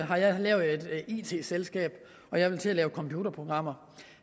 har jeg lavet et it selskab og jeg vil til at lave computerprogrammer